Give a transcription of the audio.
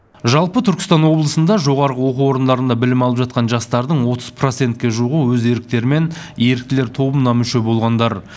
жалпы түркістан облысында жоғарғы оқу орындарында білім алып жатқан жастардың отыз процентке жуығы өз еріктерімен еріктілер тобына мүше болғандар